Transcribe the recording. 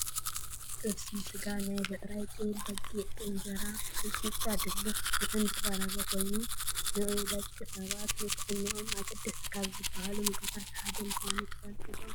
ጥብሲ ስጋ ናይ ብዕራይን ጤል፣ በጊዕ ብእንጀራን ሚጥሚጣ፣ ድልክ፣ ጉዕን ዝቀረበ ኮይኑ ንደቂ ሰባት ንጥዕኖኦም ኣገደስቲ ካብ ዝባሃሉ ምግብታት ሓደ ምኳኑ ትፈልጡ ዶ ?